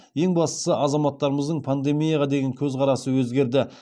ең бастысы азаматтарымыздың пандемияға деген көзқарасы өзгерді